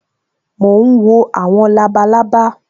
Mo ń wo àwọn labalábá